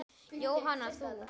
Jóhanna: Þú?